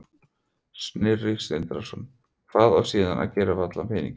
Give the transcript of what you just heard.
Sindri Sindrason: Hvað á síðan að gera við allan peninginn?